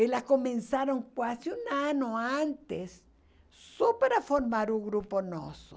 Elas começaram quase um ano antes só para formar um grupo nosso.